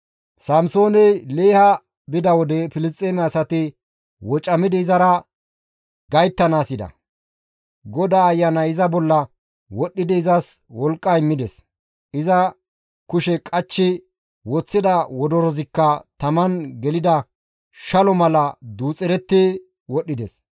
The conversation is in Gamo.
Samsooney Leeha bida wode Filisxeeme asati wocamidi izara gayttanaas yida; GODAA Ayanay iza bolla wodhdhidi izas wolqqa immides; iza kushe qachchi woththida wodorozikka taman gelida shalo mala duuxeretti wodhdhides.